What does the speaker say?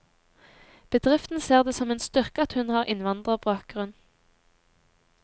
Bedriften ser det som en styrke at hun har innvandrerbakgrunn.